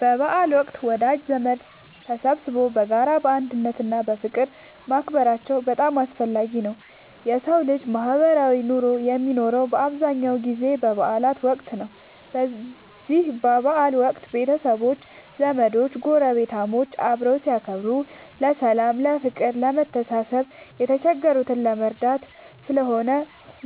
በበዓል ወቅት ወዳጅ ዘመዶች ተሰባስበው በጋራ፣ በአንድነት እና በፍቅር ማክበራቸው በጣም አስፈላጊ ነው የሠው ልጅ ማህበራዊ ኑሮ የሚኖረው በአብዛኛው ጊዜ በበዓል ወቅት ነው። በዚህ በበዓል ወቅት ቤተሰቦች፣ ዘመዶች ጐረቤታሞች አብረው ሲያከብሩ ለሠላም፤ ለፍቅር፣ ለመተሳሰብ፣ የተቸገረን ለመርዳት ስለሆነ